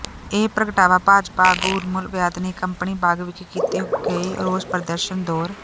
ਇਹ ਪ੍ਰਗਟਾਵਾ ਭਾਜਪਾ ਆਗੂ ਉਰਮਿਲ ਵੈਦ ਨੇ ਕੰਪਨੀ ਬਾਗ ਵਿਖੇ ਕੀਤੇ ਗਏ ਰੋਸ ਪ੍ਰਦਰਸ਼ਨ ਦੌਰ